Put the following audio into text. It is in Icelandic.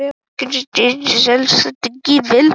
Ég hafði gleymt að setja á mig trefilinn.